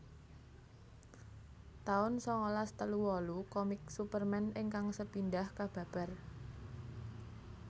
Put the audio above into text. taun sangalas telu wolu Komik Superman ingkang sepindhah kababar